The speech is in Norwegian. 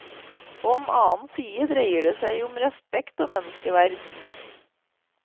På den annen side dreier det seg om respekt og menneskeverd.